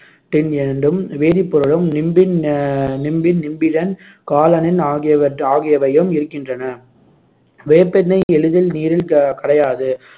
எனும் வேதிப்பொருளும் நிம்பின் ஆஹ் நிம்பின், நிம்பிடன், காலனின் ஆகியவற்~ ஆகியவையும் இருக்கின்றன வேப்பெண்ணெய் எளிதில் நீரில் க~ கரையாது